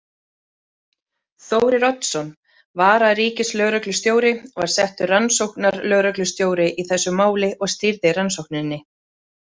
Þórir Oddsson, vararíkislögreglustjóri, var settur rannsóknarlögreglustjóri í þessu máli og stýrði rannsókninni.